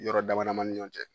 Yɔrɔ dama damanin ni ɲɔn cɛ.